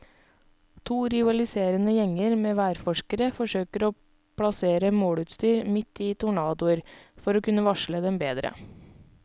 To rivaliserende gjenger med værforskere forsøker å plassere måleutstyr midt i tornadoer, for å kunne varsle dem bedre.